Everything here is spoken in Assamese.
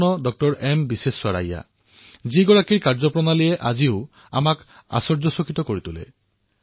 মহান ইঞ্জিনীয়াৰৰ উত্তৰাধিকাৰৰূপে আমি এনে এক ৰত্ন পালো যাৰ কাৰ্যই আজিও জনসাধাৰণক আচৰিত কৰে আৰু তেওঁ হল ডঃ এম বিশ্বশ্ৰেয়